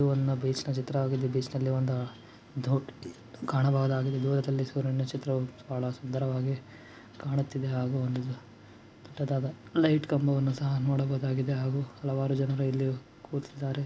ಇದು ಒಂದು ಬೀಚ್ ನ ಚಿತ್ರವಾಗಿದೆ ಬೀಚಲ್ಲಿ ದೋ ಕಾಣಬಹುದಾಗಿದೆ ದೂರದಲ್ಲಿ ಸೂರ್ಯನ ಚಿತ್ರವು ಸುಂದರವಾಗಿದೆ ಕಾಣುತ್ತಿದೆ ಹಾಗೂ ದೊಡ್ಡದಾದ ಲೈಟ್ ಕಂಬವನ್ನು ನೋಡಬಹುದಾಗಿದೆ ಇಲ್ಲಿ ಹಲವಾರು ಜನರು ಕುಳಿತು ಕೊಂಡಿದ್ದಾರೆ .